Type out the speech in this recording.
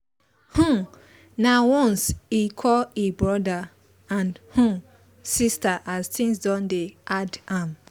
um nah once e call e brother and um sister as things don dey hard am